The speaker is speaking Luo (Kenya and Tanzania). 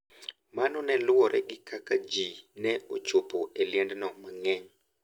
Mano ne luwore gi kaka ne ji ochopo e liendno mang`eny.